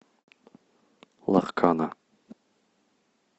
ларкана